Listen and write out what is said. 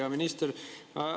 Hea minister!